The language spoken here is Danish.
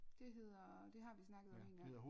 Det hedder det har vi snakket om en gang